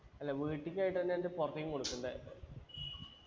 അല്ല വീട്ടിക്കായ്ട്ടന്നെ ഉണ്ട് പൊറത്തേക്കും കൊടുക്കുണ്ട്